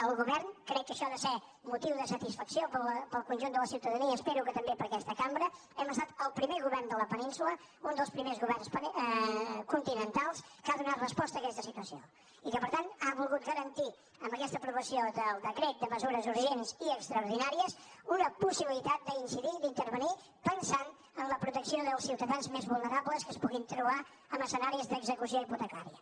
el govern crec que això ha de ser motiu de satisfacció per al conjunt de la ciutadania espero que també per a aquesta cambra hem estat el primer govern de la península un dels primers governs continentals que ha donat resposta a aquesta situació i que per tant ha volgut garantir amb aquesta aprovació del decret de mesures urgents i extraordinàries una possibilitat d’incidir d’intervenir pensant en la protecció dels ciutadans més vulnerables que es puguin trobar en escenaris d’execució hipotecària